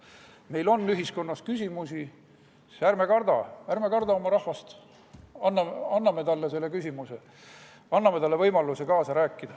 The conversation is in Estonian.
Meil on ühiskonnas küsimusi, ärme kardame oma rahvast, esitame talle selle küsimuse, anname talle võimaluse kaasa rääkida.